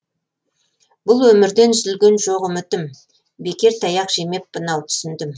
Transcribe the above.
бұл өмірден үзілген жоқ үмітім бекер таяқ жемеппін ау түсіндім